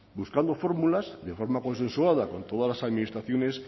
buscando fórmulas de forma consensuada con todas las administraciones